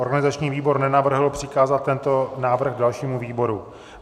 Organizační výbor nenavrhl přikázat tento návrh dalšímu výboru.